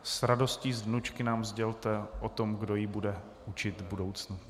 S radostí z vnučky nám sdělte o tom, kdo ji bude učit v budoucnu.